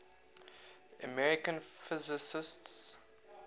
american physicists